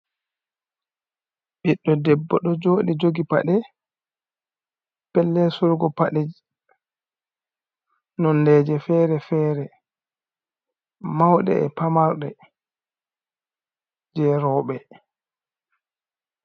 Ɓiɗɗo Debbo ɗon jooɗi jogi paɗe, pellel sorrugo paɗe, nondeeeji feere feere, mawɗe e pamarɗe jei rewɓe.